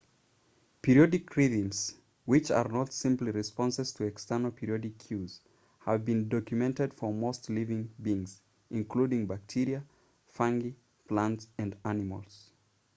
periodic rhythms which are not simply responses to external periodic cues have been documented for most living beings including bacteria fungi plants and animals